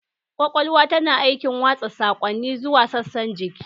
Kwakwalwa tana aikin watsa saƙonni zuwa sassan jiki